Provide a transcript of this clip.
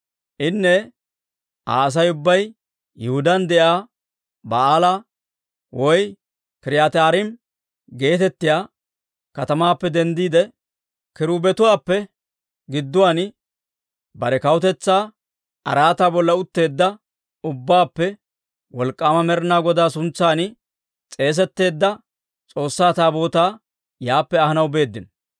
Daawittenne Aa Asay ubbay Yihudaan de'iyaa Ba'aala (K'iriyaatiyyi-Aarim) geetettiyaa katamaappe denddiide, kiruubetuwaappe gidduwaan bare kawutetsaa araataa bolla utteedda ubbaappe Wolk'k'aama Med'inaa Godaa suntsan s'eesetteedda S'oossaa Taabootaa yaappe ahanaw beeddino.